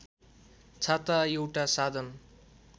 छाता एउटा साधन